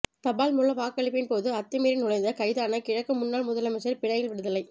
தபால் மூல வாக்களிப்பின் போது அத்துமீறி நுழைந்து கைதான கிழக்கு முன்னாள் முதலமைச்சர் பிணையில் விடுதலை